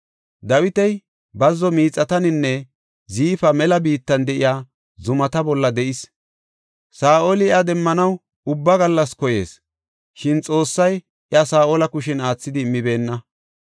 Dawiti bazzo miixataninne Ziifa mela biittan de7iya zumata bolla de7is. Saa7oli iya demmanaw ubba gallas koyees, shin Xoossay iya Saa7ola kushen aathidi immibeenna.